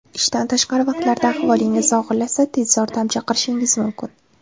Ishdan tashqari vaqtlarda ahvolingiz og‘irlashsa, tez yordam chaqirishingiz mumkin.